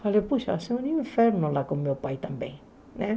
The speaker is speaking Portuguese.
Falei, puxa, vai ser um inferno lá com meu pai também, né?